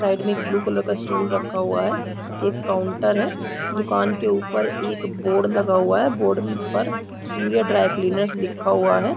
Side में एक blue colour का स्टूल रखा हुआ है एक काउंटर है दुकान के ऊपर एक बोर्ड लगा हुआ है बोर्ड पर ऊपर सूर्य ड्राई क्लीनर्स लिखा हुआ है।